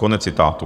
Konec citátu.